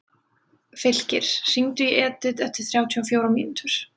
Fylkir, hringdu í Edith eftir þrjátíu og fjórar mínútur.